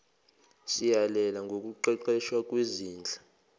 siyalela ngokuqeqeshwa kwezinhla